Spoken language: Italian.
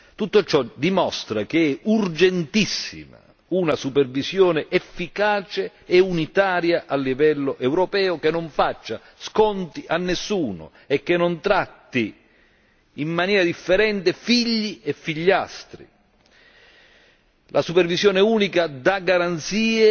Tutto ciò dimostra che è urgentissima una supervisione efficace e unitaria a livello europeo, che non faccia sconti a nessuno e che non tratti in maniera differente figli e figliastri. La supervisione unica dà garanzie